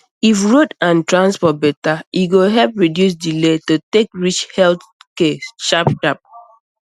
if road and transport better e go help reduce delay to take reach health care sharp sharp